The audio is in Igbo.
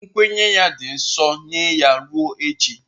Nkwenye ya dị nsọ nye ya ruo echi.